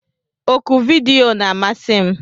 Oku vidiyo na-amasị m.